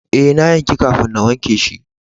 Eh, na yanki kafin na wanke shi.